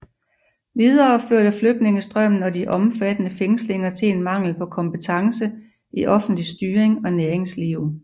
Videre førte flygtningstrømmen og de omfattende fængslinger til en mangel på kompetance i offentlig styring og næringsliv